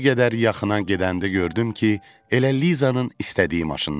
Bir qədər yaxına gedəndə gördüm ki, elə Lizanın istədiyi maşındandır.